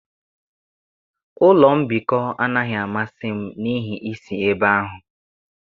Ụlọ mbikọ anaghị amasị m n'ihi isi ebe ahụ.